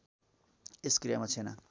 यस क्रियामा छेना